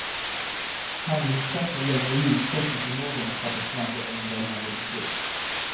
Handlingskraft har länge likställts med förmågan att fatta snabba och omvälvande beslut.